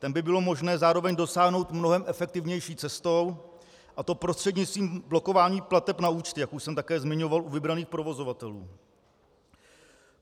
Ten by bylo možné zároveň dosáhnout mnohem efektivnější cestou, a to prostřednictvím blokování plateb na účty, jak už jsem také zmiňoval, u vybraných provozovatelů.